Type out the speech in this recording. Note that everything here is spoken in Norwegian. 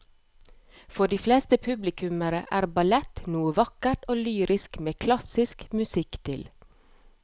For de fleste publikummere er ballett noe vakkert og lyrisk med klassisk musikk til.